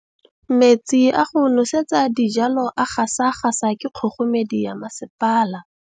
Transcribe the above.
Metsi a go nosetsa dijalo a gasa gasa ke kgogomedi ya masepala.